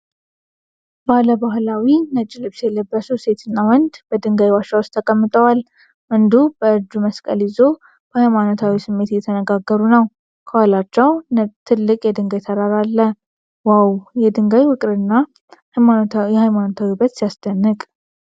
ባለባሕላዊ ነጭ ልብስ የለበሱ ሴትና ወንድ በድንጋይ ዋሻ ውስጥ ተቀምጠዋል። ወንዱ በእጁ መስቀል ይዞ በሀይማኖታዊ ስሜት እየተነጋገሩ ነው። ከኋላቸው ትልቅ የድንጋይ ተራራ አለ። "ዋው! የድንጋይ ውቅርና የሃይማኖታዊ ውበት ሲያስደንቅ!"